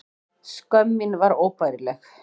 Skömm mín var óbærileg.